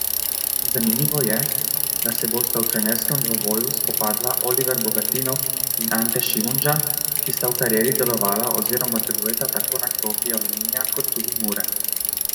Zanimivo je, da se bosta v trenerskem dvoboju spopadla Oliver Bogatinov in Ante Šimundža, ki sta v karieri delovala oziroma delujeta tako na klopi Aluminija kot tudi Mure.